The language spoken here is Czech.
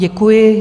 Děkuji.